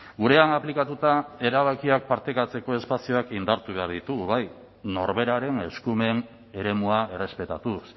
gurean aplikatuta erabakiak partekatzeko espazioak indartu behar ditugu bai norberaren eskumen eremua errespetatuz